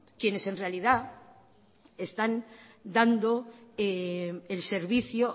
quienes en realidad están dando al servicio